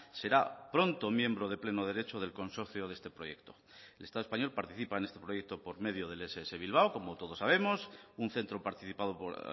será pronto miembro de pleno derecho del consorcio de este proyecto el estado español participa en este proyecto por medio del ess bilbao como todos sabemos un centro participado por